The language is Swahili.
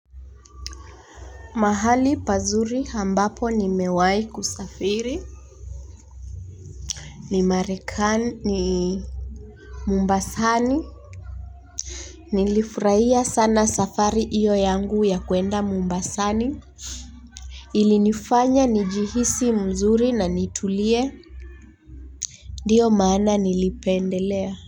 Mahali pazuri ambapo nimewahi kusafiri. Ni marekani mombasani. Nilifurahia sana safari iyo yangu ya kuenda mombasani. Ilinifanya ni jihisi mzuri na nitulie. Ndiyo maana nilipendelea.